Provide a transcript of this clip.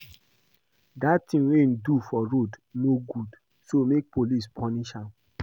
Dat thing wey he do for road no good so make police punish am